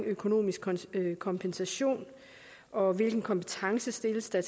økonomisk kompensation og hvilken kompetence kræves der